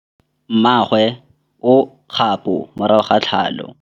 Mmagwe o kgapô morago ga tlhalô.